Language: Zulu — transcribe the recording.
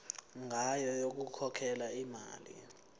ngayo yokukhokhela imali